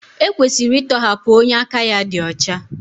E kwesịrị ịtọhapụ onye aka ya dị ọcha.